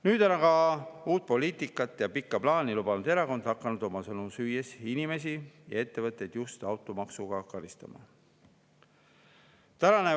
" Nüüd aga on uut poliitikat ja pikka plaani lubanud erakond hakanud oma sõnu süües inimesi ja ettevõtteid just automaksuga karistama.